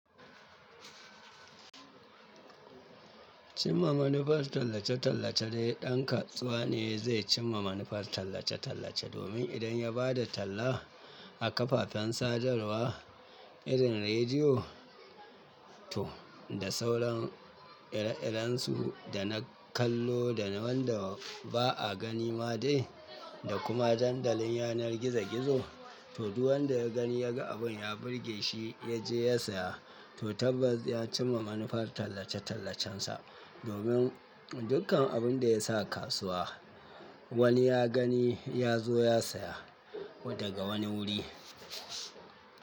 Cimma manufar tallace-tallace dai, ɗan kasuwa ne zai cimma manufar tallace-tallace domin idan ya ba da talla a kafafen sadarwa irin rediyo to da sauran ire-irensu da na kallo da wanda ba a gani ma dai da kuma dandalin yanar gizo-gizo, to duk wanda ya gani ya ga abin ya burge shi ya je ya saya to tabbas ya cimma manufar tallace-tallacensa, domin dukkan abin da ya sa kasuwa wani ya gani ya zo ya saya daga wani wuri.